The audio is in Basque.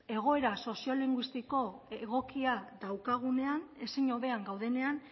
egoera sozio linguistiko egokia daukagunean ezin hobean gaudenean